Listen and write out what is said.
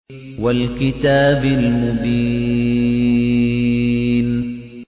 وَالْكِتَابِ الْمُبِينِ